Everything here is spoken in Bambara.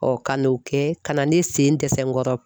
ka n'o kɛ ka na ne sen dɛsɛ n kɔrɔ.